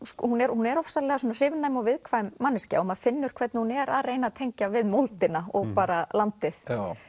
hún er hún er ofsalega hrifnæm og viðkvæm manneskja og maður finnur hvernig hún er að reyna að tengja við moldina og bara landið